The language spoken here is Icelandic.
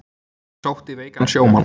Sótti veikan sjómann